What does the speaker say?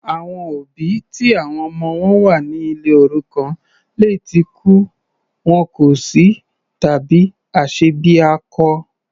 Àwọn òbí ti àwọn ọmọ wọn wà ní ilé òrukàn lè tí kú, wọn kò sí tàbí aṣebiakọ.